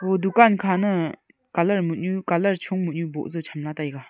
dukan khane colour mo nyu colour chung mo nyu cham la taiga.